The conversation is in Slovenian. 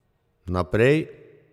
Naprej.